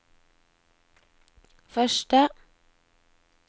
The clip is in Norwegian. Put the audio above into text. første